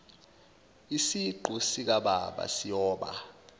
isiqu sikababa siyoba